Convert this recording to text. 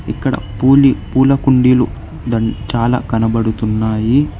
ఇక్కడ పూలి పూల కుండీలు చాలా కనబడుతున్నాయి.